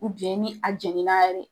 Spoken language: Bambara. ni a jeni na yɛrɛ.